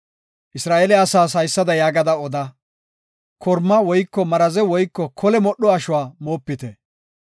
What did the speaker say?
Isra7eele asaas haysada yaagada oda; korma woyko maraze woyko kole modho ashuwa moopite.